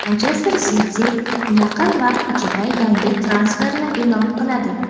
"Manchester Siti" yaqin vaqt ichida yangi transferni e’lon qiladi.